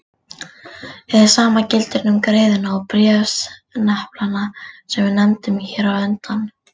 Hið sama gildir um greiðuna og bréfsneplana sem við nefndum hér á undan.